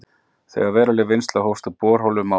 Þegar veruleg vinnsla hófst úr borholum á